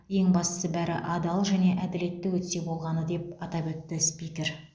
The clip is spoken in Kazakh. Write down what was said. ең бастысы бәрі адал және әділетті өтсе болғаны деп атап өтті спикер